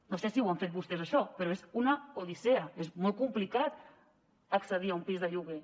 no sé si ho han fet vostès això però és una odissea és molt complicat accedir a un pis de lloguer